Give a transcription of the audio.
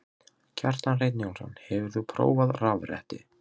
Kjartan Hreinn Njálsson: Hefur þú prófað rafrettu?